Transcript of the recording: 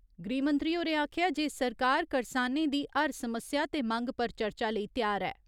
गृहमंत्री होरें आखेआ जे सरकार करसानें दी हर समस्या ते मंग पर चर्चा लेई त्यार ऐ।